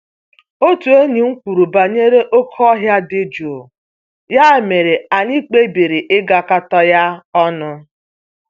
Otu enyi m kwuru banyere oké ọhịa dị jụụ, ya mere anyị kpebiri ịgakọta ya ọnụ